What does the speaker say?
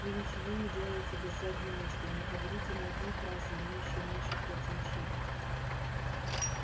вы ничего не делаете без задней мысли не говорите ни одной фразы имеющей меньше трёх значений